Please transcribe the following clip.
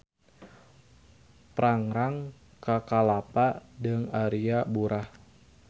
Prangrang ka Kalapa deung Aria Burah.